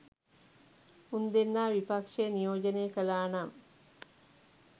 උන් දෙන්නා විපක්ෂය නියෝජනය කළා නම්